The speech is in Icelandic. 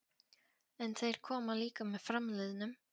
En þeir koma líka með framliðnum.